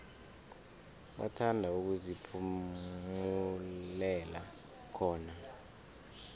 bathanda ukuziphumulela khona